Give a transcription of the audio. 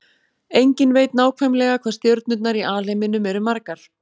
Enginn veit nákvæmlega hvað stjörnurnar í alheiminum eru margar.